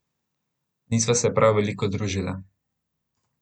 Nisva se prav veliko družila.